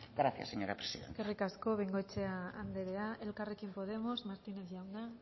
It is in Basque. gracias señora presidenta eskerrik asko bengoechea andrea elkarrekin podemos martínez jauna